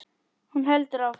Hún heldur áfram.